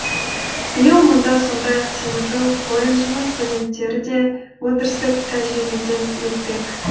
биыл мұнда сондай ақ теміржол колледжінің студенттері де өндірістік тәжірибеден өтпек